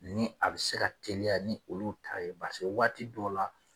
Ni a bɛ se ka teliya ni olu ta ye waati dɔw la